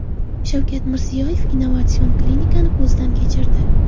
Shavkat Mirziyoyev innovatsion klinikani ko‘zdan kechirdi.